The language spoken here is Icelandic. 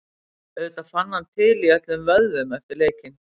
Auðvitað fann hann til í öllum vöðvum eftir leikinn.